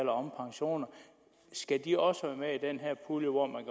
om pensioner skal de også være med i den her pulje hvor man